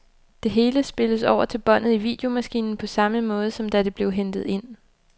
Det hele spilles over til båndet i videomaskinen på samme måde, som da det blev hentet ind.